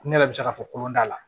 Ne yɛrɛ bɛ se k'a fɔ ko kolon t'a la